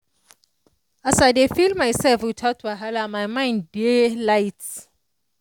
as i dey feel myself without wahala my mind dey light.